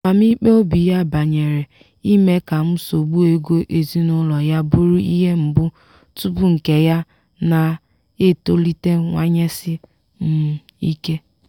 amamikpe obi ya banyere ime ka nsogbu ego ezinụlọ ya bụrụ ihe mbụ tupu nke ya na-etolitewanyesi um ike.